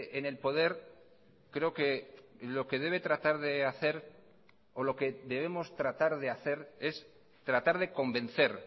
en el poder creo que lo que debe tratar de hacer o lo que debemos tratar de hacer es tratar de convencer